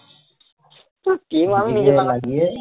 সে team আমি